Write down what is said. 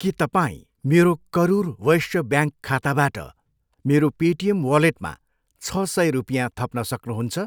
के तपाईँ मेरो करुर वैश्य ब्याङ्क खाताबाट मेरो पेटिएम वालेटमा छ सय रुपियाँ थप्न सक्नुहुन्छ?